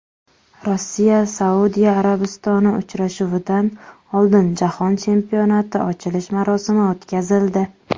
RossiyaSaudiya Arabistoni uchrashuvidan oldin Jahon Chempionati ochilish marosimi o‘tkazildi.